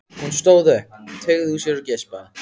Hún stóð upp, teygði úr sér og geispaði.